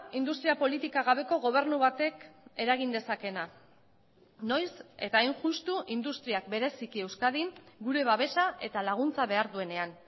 industria politika gabeko gobernu batek eragin dezakeena noiz eta hain justu industriak bereziki euskadin gure babesa eta laguntza behar duenean